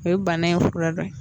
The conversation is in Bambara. E ye bana in fura dɔ ye